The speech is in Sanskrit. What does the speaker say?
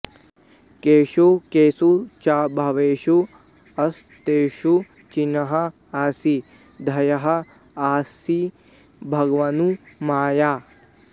केषु केषु च भावेषु वस्तुषु चिन्त्यः असि ध्येयः असि भगवन् मया